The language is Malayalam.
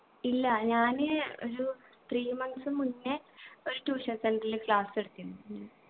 ഇല്ല ഞാന് ഒരു three months മുന്നേ ഒരു tuition center ൽ class എടുത്തിന്